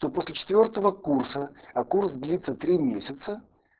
то после четвёртого курса а курс длится три месяца